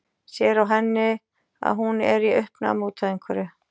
Sér á henni að hún er í uppnámi út af einhverju.